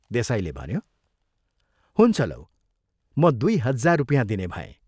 देसाईले भन्यो, "हुन्छ लौ, म दुइ हजार रुपियाँ दिने भएँ।